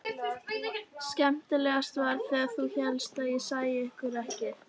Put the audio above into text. Skemmtilegast var þegar þú hélst ég sæi ekki til.